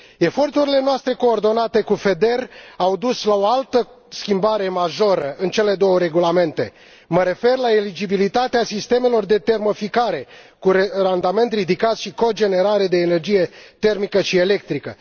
Eforturile noastre coordonate cu FEDER au dus la o altă schimbare majoră în cele două regulamente mă refer la eligibilitatea sistemelor de termoficare cu randament ridicat și cogenerare de energie termică și electrică.